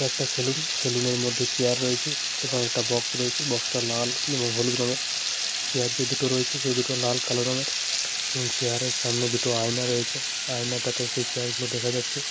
এটা একটা saloon. Saloon এর মধ্যে চেয়ার রয়েছে এবং একটা বাক্স রয়েছে । বাক্স টা লাল এবং হলুদ রঙের । চেয়ার যে দুটো রয়েছে সে দুটো লাল কালো রঙের । এবং চেয়ার এর সামনে দুটো আয়না রয়েছে । যায়না টাতে সেই চেয়ার গুলো দেখা যাচ্ছে ।